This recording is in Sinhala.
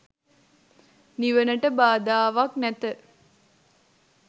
නිවනට බාධාවක් නැත.